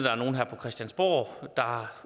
er nogle her på christiansborg der